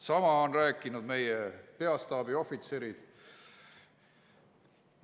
Sama on rääkinud meie peastaabi ohvitserid.